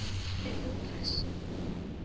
Getur þú passað?